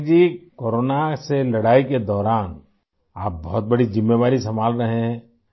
Patnaik ji, corona سے لڑائی کے دوران ، آپ بہت بڑی ذمہ داری سنبھال رہے ہیں